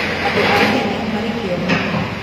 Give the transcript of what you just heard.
Andu a Kenya marĩ kĩyo mũno